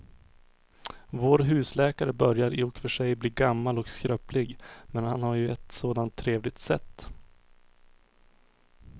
Vår husläkare börjar i och för sig bli gammal och skröplig, men han har ju ett sådant trevligt sätt!